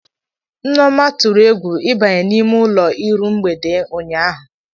Nneoma tụrụ egwu ịbanye n'ime ụlọ iru mgbede ụnyaahụ.